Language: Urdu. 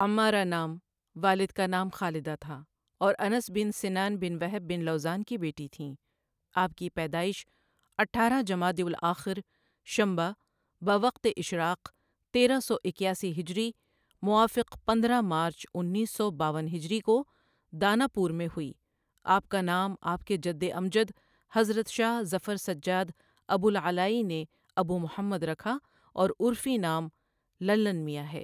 عمارہ نام، والدہ کا نام خالدہ تھا اور انس بن سنان بن وہب بن لوذان کی بیٹی تھیں آپ کی پیدائش اٹھارہ جمادی الآخر شنبہ بوقت اشراق تیرہ سو اِکیاسی ہجری موافق پندرہ مارچ انیس سو باون ہجری کو داناپور میں ہوئی، آپ کا نام آپ کے جدامجد حضرت شاہ ظفرسجاد ابوالعلائی نے ابومحمد رکھا اور عرفی نام للن میاں ہے۔